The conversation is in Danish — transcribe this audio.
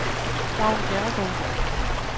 Vagn Bjerregaard